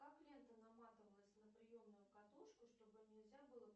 как лента наматывалась на приемную катушку чтобы нельзя было